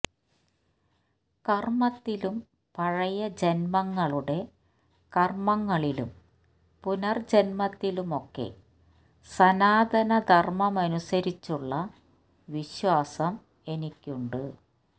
കർമത്തിലും പഴയ ജന്മങ്ങളുടെ കർമങ്ങളിലും പുനർ ജന്മത്തിലുമൊക്കെ സനാതനധർമമനുസരിച്ചുള്ള വിശ്വാസം എനിക്കുണ്ട്